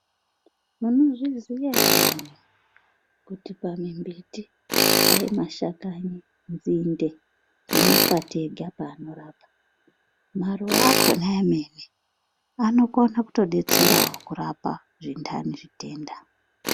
Munozviziva here kuti pamimbiti, aye mashakanyi, nzinde nemakwati anorapa, maruva akona amene anogona kutodetserawo kurapa zvindani zvitenda.